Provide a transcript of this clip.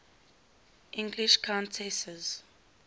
english countesses